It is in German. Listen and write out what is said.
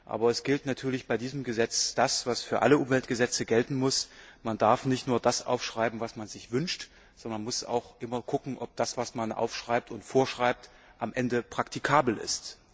Aber es gilt natürlich bei diesem Gesetz das, was für alle Umweltgesetze gelten muss Man darf nicht nur das aufschreiben, was man sich wünscht, sondern muss auch immer schauen, ob das, was man aufschreibt und vorschreibt, am Ende praktikabel ist.